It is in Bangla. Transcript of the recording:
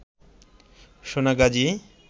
সোনাগাজী